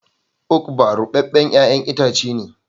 "Ugba" rubeben yayan itace ne.